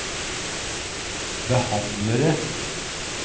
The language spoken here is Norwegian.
behandlere